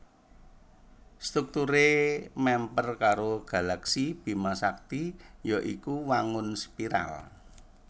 Strukturé mèmper karo galaksi Bima Sakti ya iku wangun spiral